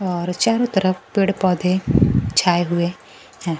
और चारों तरफ पेड़ पौधे छाये हुए है।